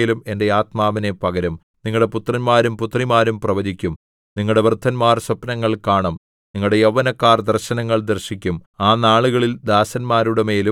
അതിന് ശേഷം ഞാൻ സകലജഡത്തിന്മേലും എന്റെ ആത്മാവിനെ പകരും നിങ്ങളുടെ പുത്രന്മാരും പുത്രിമാരും പ്രവചിക്കും നിങ്ങളുടെ വൃദ്ധന്മാർ സ്വപ്നങ്ങൾ കാണും നിങ്ങളുടെ യൗവനക്കാർ ദർശനങ്ങൾ ദർശിക്കും